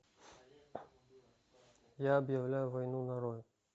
я объявляю войну нарой